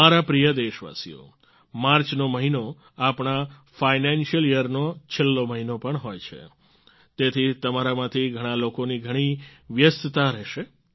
મારા પ્રિય દેશવાસીઓ માર્ચનો મહિનો આપણા ફાઈનાન્શિયલ યર નો છેલ્લો મહિનો પણ હોય છે તેથી તમારામાંથી ઘણાં લોકોની ઘણી વ્યસ્તતા રહેશે